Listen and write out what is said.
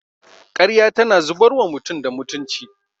Karya tana zubar wa mutum da mutunci